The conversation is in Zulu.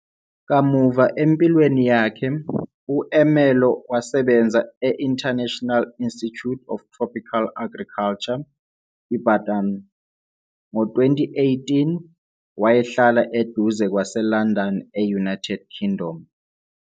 Kamuva empilweni yakhe, u-Umelo wasebenza e-International Institute of Tropical Agriculture, Ibadan. Ngo-2018, wayehlala eduze kwaseLondon e-United Kingdom.